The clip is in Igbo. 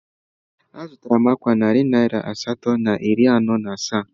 Azụtara m ákwà a narị naira asatọ na iri anọ na asaa